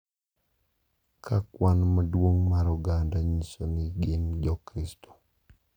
Ka kwan maduong’ mar oganda nyiso ni gin Jokristo.